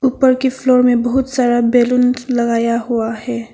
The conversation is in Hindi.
ऊपर की फ्लोर में बहुत सारा बैलून लगाया हुआ है।